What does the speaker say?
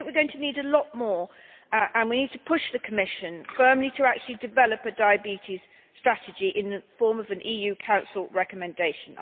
I think we are going to need a lot more, and we need to push the Commission firmly to actually develop a diabetes strategy in the form of an EU Council recommendation.